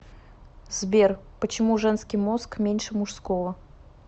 сбер почему женский мозг меньше мужского